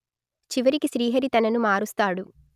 చివరికి శ్రీహరి తనను మారుస్తాడు